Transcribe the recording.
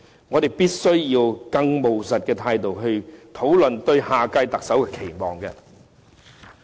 我們必須以更務實的態度來討論對下屆特首的期望。